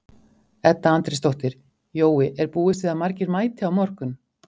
Edda Andrésdóttir: Jói, er búist við að margir mæti á morgun?